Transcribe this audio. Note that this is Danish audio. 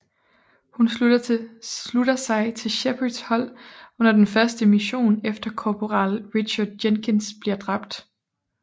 Hun slutter sig til Shepards hold under den første mission efter korporal Richard Jenkins bliver dræbt